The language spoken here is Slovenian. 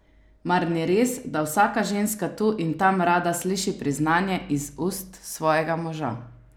Mar ni res, da vsaka ženska tu in tam rada sliši priznanje iz ust svojega moža?